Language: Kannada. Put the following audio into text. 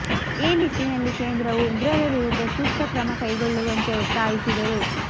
ಈ ನಿಟ್ಟಿನಲ್ಲಿ ಕೇಂದ್ರವು ಉಗ್ರರ ವಿರುದ್ಧ ಸೂಕ್ತ ಕ್ರಮ ಕೈಗೊಳ್ಳುವಂತೆ ಒತ್ತಾಯಿಸಿದರು